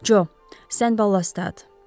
Co, sən balast at.